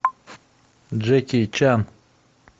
джеки чан